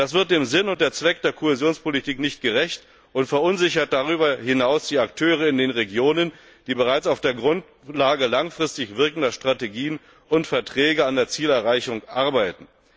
Das wird dem Sinn und dem Zweck der Kohäsionspolitik nicht gerecht und verunsichert darüber hinaus die Akteure in den Regionen, die bereits auf der Grundlage langfristig wirkender Strategien und Verträge an der Zielerreichung arbeiten.